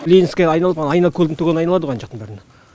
ленинский айналып ана айнакөлдің түгелін айналады ғой ана жақтың бәріна